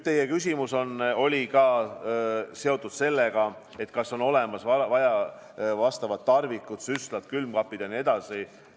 Teie küsimus oli seotud ka sellega, kas on olemas vastavad tarvikud, süstlad, külmkapid jne.